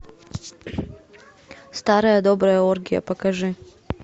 старая добрая оргия покажи